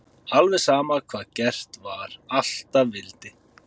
Alveg sama hvað gert var, alltaf vildi